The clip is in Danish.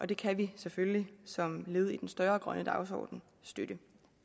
det kan vi selvfølgelig som led i den større grønne dagsorden støtte